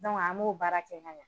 an m'o baara kɛ ka ɲa